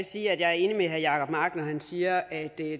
sige at jeg er enig med herre jacob mark når han siger at der